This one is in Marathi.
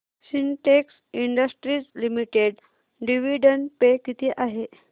Sintex industries limited dividend pay किती आहे